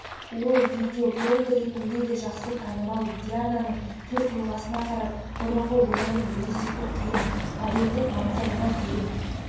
ол видеоблоггер ретінде де жақсы танымал диананың түр-тұлғасына қарап бұрынғы өмірін елестету қиын модельдік мансабына дейін